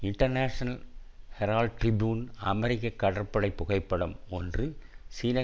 இன்டர்நேஷனர் Herald Tribune அமெரிக்க கடற்படை புகைப்படம் ஒன்று சீன